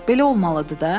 Belə olmalıdır da.